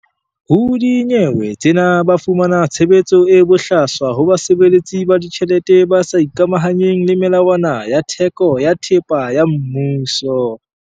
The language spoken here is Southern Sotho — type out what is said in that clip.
Ho dinyewe tsena ba fumana tshebetso e bohlaswa ho basebeletsi ba ditjhelete ba sa ikamahanyeng le melawana ya theko ya thepa ya mmuso.